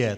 Je.